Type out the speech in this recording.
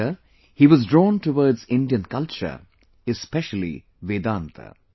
Later he was drawn towards Indian culture, especially Vedanta